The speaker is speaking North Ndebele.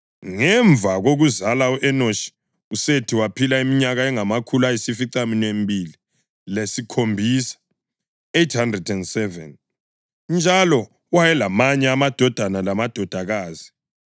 Ngemva kokuzala u-Enoshi uSethi waphila iminyaka engamakhulu ayisificaminwembili lesikhombisa (807), njalo wayelamanye amadodana lamadodakazi.